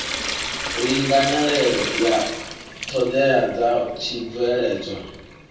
linganelaho ya ṱhoḓea dza tshibveledzwa